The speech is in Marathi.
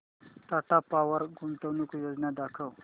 टाटा पॉवर गुंतवणूक योजना दाखव